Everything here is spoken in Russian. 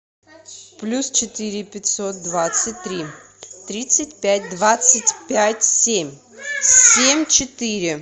плюс четыре пятьсот двадцать три тридцать пять двадцать пять семь семь четыре